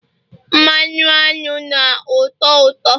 mmanụ aṅụ na ụtọ uto